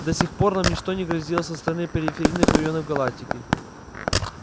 до сих пор нам ничто не грозило со стороны периферийных районов галактики